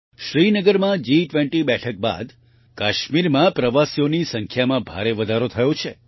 શ્રીનગરમાં જી20 બેઠક બાદ કાશ્મીરમાં પ્રવાસીઓની સંખ્યામાં ભારે વધારો થયો છે